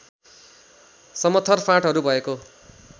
समथर फाँटहरू भएको